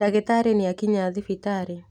ndagītarī nīakinya thibitarī.